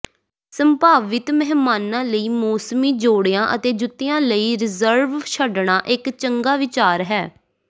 ਸੰਭਾਵਿਤ ਮਹਿਮਾਨਾਂ ਲਈ ਮੌਸਮੀ ਜੋੜਿਆਂ ਅਤੇ ਜੁੱਤਿਆਂ ਲਈ ਰਿਜ਼ਰਵ ਛੱਡਣਾ ਇੱਕ ਚੰਗਾ ਵਿਚਾਰ ਹੈ